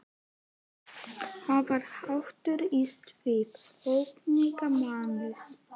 Það var hatur í svip ókunnuga mannsins.